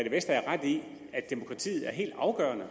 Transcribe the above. vestager ret i at demokratiet er helt afgørende